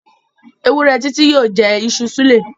Ewúrẹ́ Titi yóò jẹ iṣu súlẹ̀.